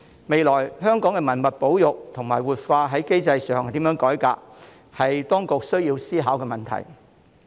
未來如何改革香港的文物保育及活化機制，是當局需要思考的問題。